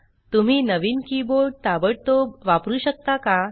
तुम्ही नवीन कीबोर्ड ताबडतोब वापरु शकता का